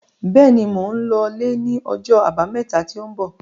Béèni, Mò ń lọ lẹ́ ní ọjọ́ àbámẹ́ta tí ń bọ̀